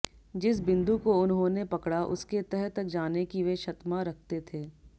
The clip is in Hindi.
जिस बिन्दु को उन्होंने पकड़ा उसके तह तक जाने की वे क्षतमा रखते थे